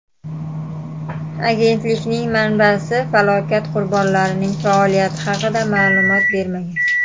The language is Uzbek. Agentlikning manbasi falokat qurbonlarining faoliyati haqida ma’lumot bermagan.